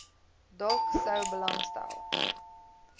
dalk sou belangstel